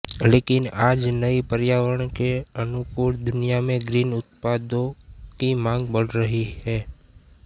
लेकिन आज नई पर्यावरण के अनुकूल दुनिया में ग्रीन उत्पादों की मांग बढ़ रही है